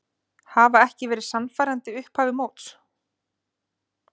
Hafa ekki verið sannfærandi í upphafi móts.